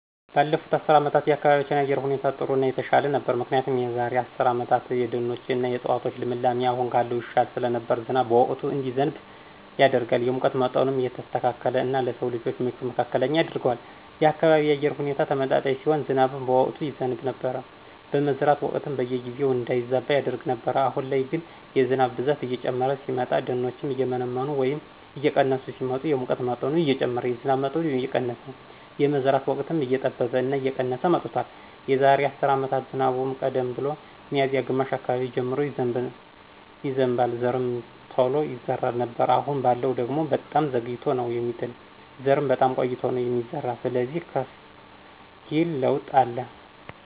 ባለፉት አስርት አመታት የአካባቢያችን የአየር ሁኔታ ጥሩ እና የተሻለ ነበር ምክንያቱ የዛራ አስርት አመታት የደኖች እና የዕፅዋቶች ልምላሜ አሁን ካለው ይሻል ስለነበር ዝናብን በወቅቱ እንዲዘንብ ያደርጋል፣ የሙቀት ምጠኑም የተስተካከለ እና ለስው ልጅ ምቹ መካከለኛ ያደርገዋል፣ የአካባቢው የአየር ሁኔታ ተመጣጣኝ ሲሆን ዝናብም በወቅቱ ይዘብ ነበር፣ የመዝራት ወቅትም በጊዜው እንዳይዛባ ያደርግ ነበር። አሁን ላይ ግን የህዝብ ብዛት እየጨመረ ሲመጣ፣ ደኖችም እየመነመኑ ወይም እየቀነሱ ሲመጡ የሙቀት መጠኑ እየጨመረ የዝናብ መጠኑ እየቀነስ የመዝራት ወቅትም እየጠበበ እና የቀነስ መጥቷል። የዛሬ አስር አመት ዝናቡም ቀደም ብሎ ሚዚያ ግማሽ አካባቢ ጀምሮ ይዘንባል ዘርምቶሎ ይዘራ ነበር አሁን ባለው ደግሞ በጣም ዘግይቶ ነው ሚጥል ዘርም በጣም ቆይቶ ነው ሚዘራ ስለዚህ ከፍ ይል ለውጥ አለ።